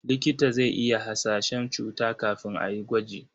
Likita zai iya hasashen cuta kafin a yi gwaji.